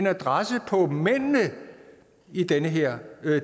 adresserer mændene i den her